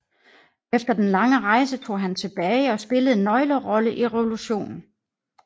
Efter den lange rejse tog han tilbage og spillede en nøglerolle i revolutionen